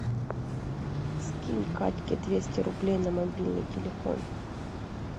скинь катьке двести рублей на мобильный телефон